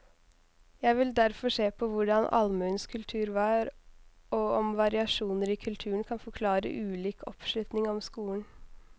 Jeg vil derfor se på hvordan allmuens kultur var, og om variasjoner i kulturen kan forklare ulik oppslutning om skolen.